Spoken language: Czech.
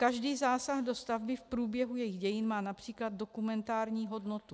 Každý zásah do stavby v průběhu jeho dění má například dokumentární hodnotu.